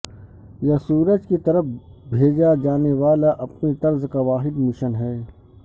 یہ سورج کی طرف بھیجا جانے والا اپنی طرز کا واحد مشن ہے